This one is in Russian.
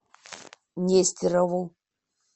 нестерову